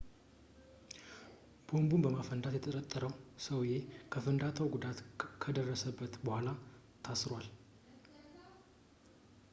ቦምቡን በማፈንዳት የተጠረጠረው ሰውዬ ከፍንዳታው ጉዳት ከደረሰበት በኋላ ታስሯል